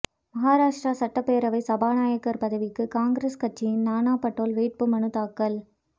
மகாராஷ்டிரா சட்டப்பேரவை சபாநாயகர் பதவிக்கு காங்கிரஸ் கட்சியின் நானா படோல் வேட்புமனு தாக்கல்